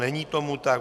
Není tomu tak.